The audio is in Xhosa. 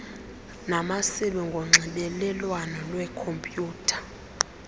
namasebe ngonxibelelwano lwekhompyutha